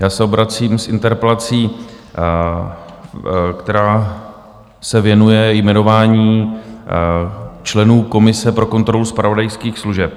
Já se obracím s interpelací, která se věnuje jmenování členů komise pro kontrolu zpravodajských služeb.